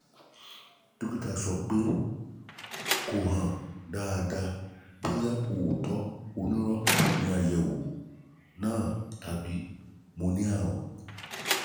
dọ́kítà sọ pé kò hàn dáadáa bóyá òótọ́ onírọ́ ni àyẹ̀wò náà tàbí mo ní àrùn